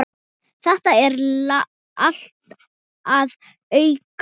Þetta er allt að aukast.